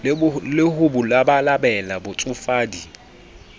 le ho bo labalabela botsofadi